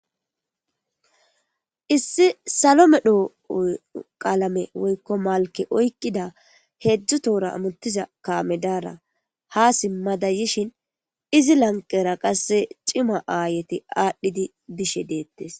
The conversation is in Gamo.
issi salo medho qalame woykko malke oyiqqida heedzdzu toora amutiza kamedara ha simmada yishin izi lanqera qasse cima aayeti aadhdhidi yishe deettes